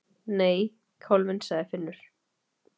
Nei, kálfinn, sagði Finnur.